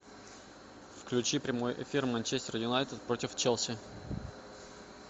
включи прямой эфир манчестер юнайтед против челси